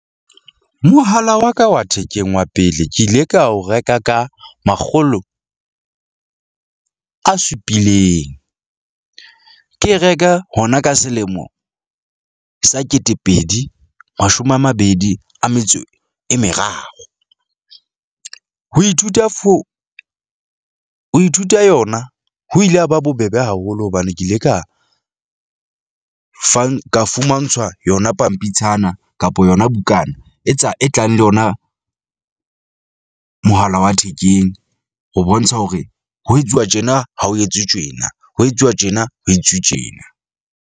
Mohala wa ka wa thekeng wa pele ke ile ka ho reka ka makgolo a supileng. Ke e reka hona ka selemo sa ketepedi mashome a mabedi a metso e meraro. Ho ithuta , ho ithuta yona. Ho ile ha ba bobebe haholo hobane ke ile ka fang ka fumantshwa yona pampitshana kapa yona bukana e tsa e tlang le yona mohala wa thekeng. Ho bontsha hore ho etsuwa tjena ha ho etswe tjena, ho etsuwa tjena ho etsuwe tjena.